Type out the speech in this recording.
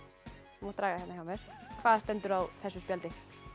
þú mátt draga hérna hjá mér hvað stendur á þessu spjaldi